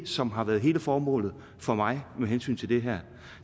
som har været hele formålet for mig med hensyn til det her